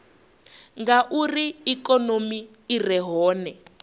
ngauri ikonomi i re hone